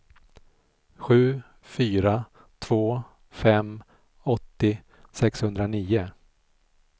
sju fyra två fem åttio sexhundranio